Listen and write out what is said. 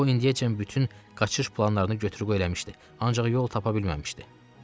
O indiyəcən bütün qaçış planlarını götür-qoy eləmişdi, ancaq yol tapa bilməmişdi.